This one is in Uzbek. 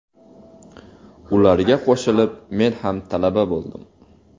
Ularga qo‘shilib men ham talaba bo‘ldim.